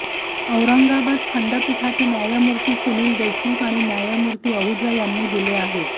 औरंगाबाद खंडपीठाचे न्यायमूर्ती सुनील देशमुख आणि न्यायमूर्ती आहुजा यांनी दिले आहेत